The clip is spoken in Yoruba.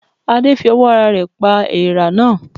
Adé fi owó ara rè pa eèrà náà